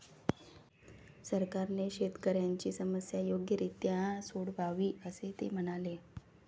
सरकारने शेतकऱयांची समस्या योग्यरित्या सोडवावी असे ते म्हणाले.